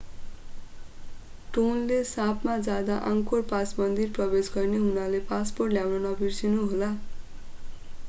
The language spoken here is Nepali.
टोनले सापमा जाँदा आङ्कोर पास मन्दिर प्रवेश गर्ने हुनाले पासपोर्ट ल्याउन नबिर्सनु होला